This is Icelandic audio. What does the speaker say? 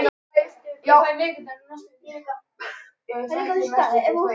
Hún leikur rokk.